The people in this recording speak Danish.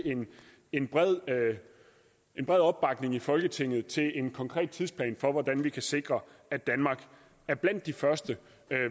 en bred en bred opbakning i folketinget til en konkret tidsplan for hvordan vi kan sikre at danmark er blandt de første